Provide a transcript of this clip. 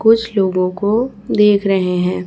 कुछ लोगों को देख रहे हैं।